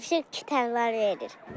Tapşırıq kitab var verir.